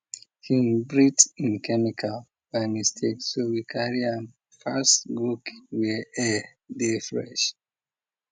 hin breathe in chemical by mistake so we carry am fast go keep where air dey fresh